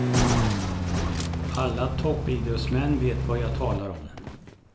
Alla toppidrottsmän vet vad jag talar om.